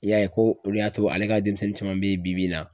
I y'a ye ko olu y'a to ale ka denmisɛnnin caman bɛ yen bi bi in na.